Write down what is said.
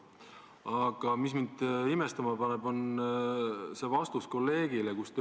Aga mind paneb imestama teie vastus meie kolleegile.